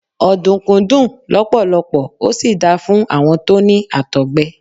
Ọ̀dùnkún dùn lọpọlọpọ, ó sì da fún àwọn tó ní Àtọ̀gbẹ.